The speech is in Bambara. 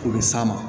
O bɛ s'a ma